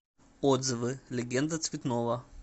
отзывы легенда цветного